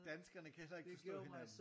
Danskerne kan så ikke forstå hinanden